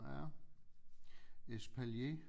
Ja espalier